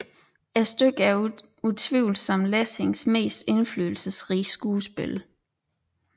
Stykket er utvivlsomt Lessings mest indflydelsesrige skuespil